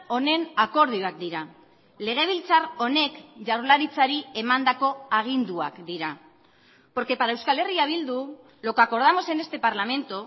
honen akordioak dira legebiltzar honek jaurlaritzari emandako aginduak dira porque para euskal herria bildu lo que acordamos en este parlamento